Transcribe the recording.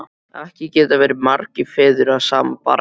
Ekki geta verið margir feður að sama barni!